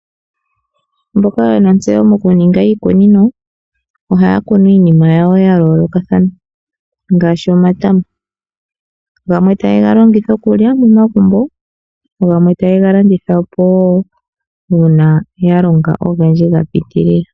Mboka yena ontseyo mokuninga iikunino, ohaya kunu iinima yawo yayoolokathana, ngaashi omatama. Gamwe ohaye ga longitha okulya momagumbo, gamwe taye ga landithapo wo uuna yalonga ogendji gapitilila.